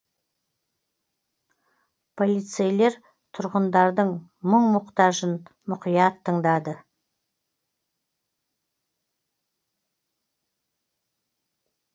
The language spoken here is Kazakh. полицейлер тұрғындардың мұқ мұқтажын мұқият тыңдады